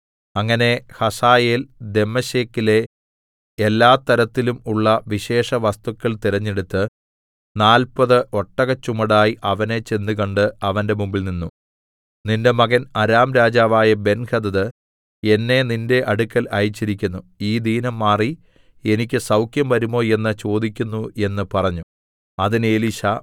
അങ്ങനെ ഹസായേൽ ദമ്മേശെക്കിലെ എല്ലാതരത്തിലും ഉള്ള വിശേഷവസ്തുക്കൾ തിരഞ്ഞെടുത്ത് നാല്പത് ഒട്ടകച്ചുമടായി അവനെ ചെന്നുകണ്ട് അവന്റെ മുമ്പിൽനിന്നു നിന്റെ മകൻ അരാം രാജാവായ ബെൻഹദദ് എന്നെ നിന്റെ അടുക്കൽ അയച്ചിരിക്കുന്നു ഈ ദീനം മാറി എനിക്ക് സൗഖ്യം വരുമോ എന്ന് ചോദിക്കുന്നു എന്ന് പറഞ്ഞു അതിന് എലീശാ